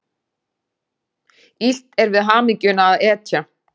Illt er við hamingjuna að etja.